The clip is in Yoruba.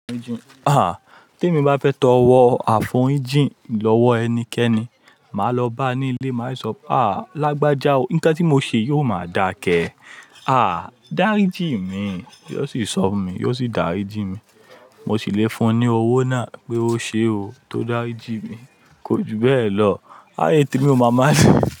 Ah! Tẹ́ mi bá fẹ́ to ro àforíjìn lọ́wọ́ ẹnikẹ́ni, ma lọ bá ni ilé, ma sì sọpé, ah lágbájá o, ǹkan tí mo ṣe yíò ma da ke, ah dáríjì mí, yó sì sọ fún mi, yó sì dáríjì mí, mo sì lè fún ni owó náà pé ó ṣé o, tó dáríjì mí, kò jù bẹ́ lọ, ayé tèmi ó ma ma le.